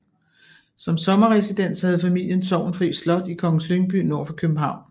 Som sommerresidens havde familien Sorgenfri Slot i Kongens Lyngby nord for København